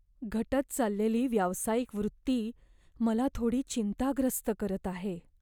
घटत चाललेली व्यावसायिक वृत्ती मला थोडी चिंताग्रस्त करत आहे.